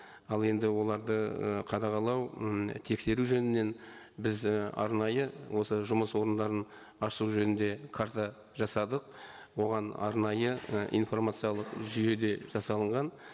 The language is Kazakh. ал енді оларды і қадағалау м тексеру жөнінен біз і арнайы осы жұмыс орындарын ашу жөнінде карта жасадық оған арнайы і информациялық жүйеде жасалынған